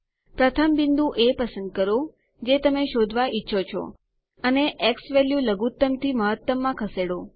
પ્રથમ બિંદુ એ પસંદ કરો જે તમે શોધવા ઈચ્છો છો અને પછી ઝવેલ્યુ લઘુત્તમ થી મહત્તમમાં ખસેડો